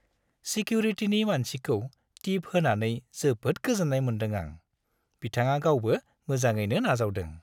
सिकिउरिटिनि मानसिखौ टिप होनानै जोबोद गोजोन्नाय मोनदों आं, बिथाङा गावबो मोजाङैनो नाजावदों।